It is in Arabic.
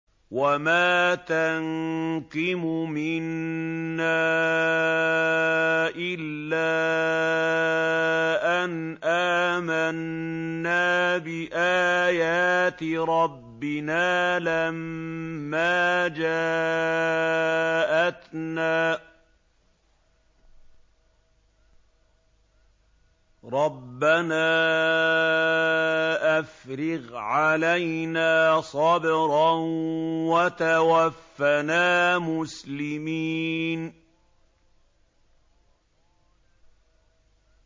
وَمَا تَنقِمُ مِنَّا إِلَّا أَنْ آمَنَّا بِآيَاتِ رَبِّنَا لَمَّا جَاءَتْنَا ۚ رَبَّنَا أَفْرِغْ عَلَيْنَا صَبْرًا وَتَوَفَّنَا مُسْلِمِينَ